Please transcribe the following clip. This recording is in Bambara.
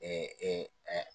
Ee ee eee